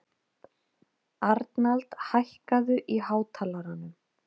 Arnald, hækkaðu í hátalaranum.